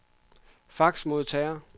faxmodtager